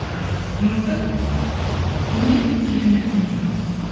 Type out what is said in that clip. ыыы мүмкін білмеймін білмеймін білмеймін білмеймін